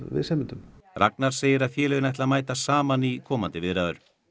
viðsemjendum Ragnar segir að félögin ætli að mæta saman í komandi viðræður